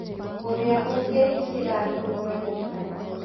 ũrĩa ũngĩikira nguruwe mũkanda